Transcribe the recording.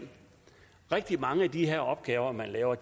rigtig mange af de her opgaver man laver er